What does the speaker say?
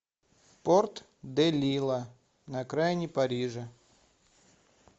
порт де лила на окраине парижа